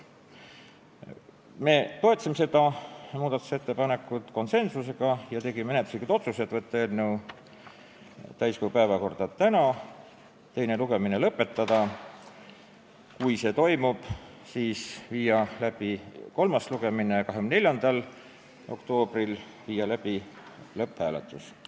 Me toetasime seda muudatusettepanekut konsensuslikult ja tegime menetluslikud otsused: saata eelnõu täiskogu päevakorda täna ja teine lugemine lõpetada ning kui see toimub, siis viia kolmas lugemine läbi 24. oktoobril ja panna eelnõu lõpphääletusele.